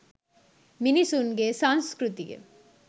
මිනිසුන්ගේ සංස්කෘතිය